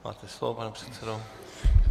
Máte slovo, pane předsedo.